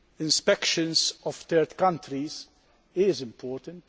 Inspections in third countries are important.